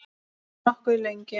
Nokkuð lengi.